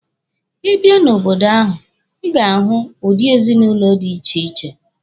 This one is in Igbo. Ị bia n'obodo ahụ, Ị ga-ahụ udi ezinụlọ dị iche iche.